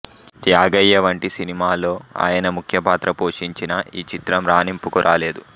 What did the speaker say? త్యాగయ్య వంటి సినిమాలో ఆయన ముఖ్యపాత్ర పోషించినా ఈ చిత్రం రాణింపుకు రాలేదు